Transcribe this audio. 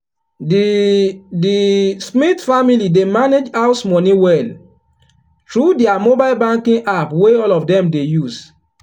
the the smith family dey manage house money well through their mobile banking app wey all of dem dey use.